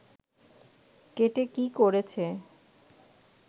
কেটে কী করেছে